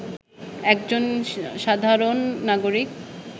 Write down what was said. একজন সাধারণ নাগরিক